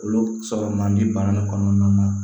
Olu sɔrɔ man di baara in kɔnɔna na